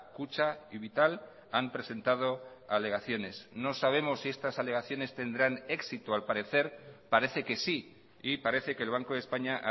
kutxa y vital han presentado alegaciones no sabemos si estas alegaciones tendrán éxito al parecer parece que sí y parece que el banco de españa